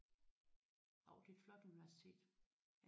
Jo det er et flot universitet